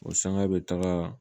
O sanga be taga